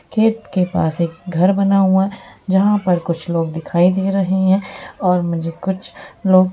खेत के पास एक घर बना हुआ है जहां पर कुछ लोग दिखाई दे रहै हैं और मुझे कुछ लोग--